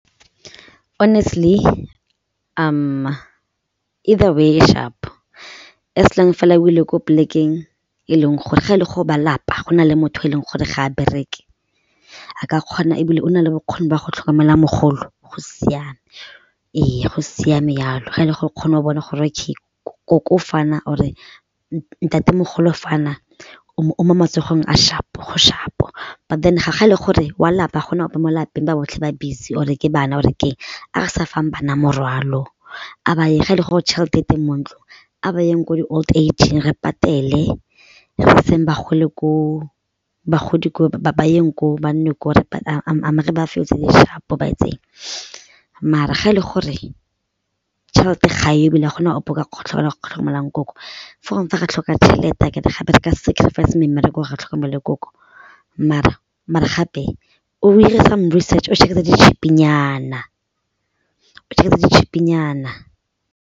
Honestly either way e sharp as long fela o ile ko polekeng e leng gore ga e le go ba lapa go na le motho yo e leng gore ga a bereke a ka kgona ebile o na le bokgoni jwa go tlhokomela mogolo go siame, ee go siame jalo ga e le gore o kgone go bona gore ke nkoko fana or e ntatemogolo fana o mo matsogong a sharp-o go sharp, but then ga e le gore wa lapa ga go na ope mo lapeng ba botlhe ba busy or-e ke bana go or keng a re sa fang bana morwalo a ba ye ge e le gore tšhelete e teng mo ntlong a ba yeng ko di-old age-ng re patele bogolo ko bagodi ba yeng ko, ba nne gore sharp-o ba etseng maar-a ga e le gore tšhelete ga e yo ebile ga go na ope o ka kgona nkoko fo gongwe fa re tlhoka tšhelete gape re ka sacrifice me mmereko gore re tlhokomele nkoko mare gape o 'ire some research o tse di cheap-nyana, o tse di cheap-nyana.